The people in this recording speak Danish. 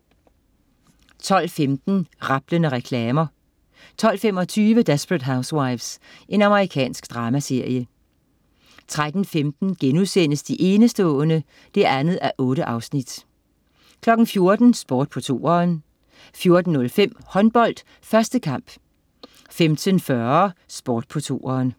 12.15 Rablende reklamer 12.25 Desperate Housewives. Amerikansk dramaserie 13.15 De enestående 2:8* 14.00 Sport på 2'eren 14.05 Håndbold: 1. kamp 15.40 Sport på 2'eren